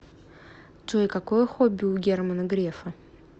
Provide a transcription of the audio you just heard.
джой какое хобби у германа грефа